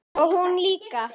Og hún líka.